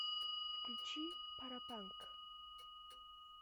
включи паропанк